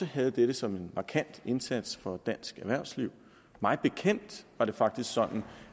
havde dette som en markant indsats for dansk erhvervsliv mig bekendt var det faktisk sådan